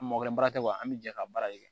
An mɔgɔ kelen baara tɛ wa an bɛ jɛ ka baara kɛ